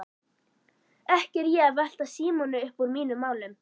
Ekki er ég að velta Símoni uppúr mínum málum.